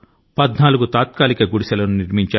14 తాత్కాలిక గుడిసెల ను తయారు చేశారు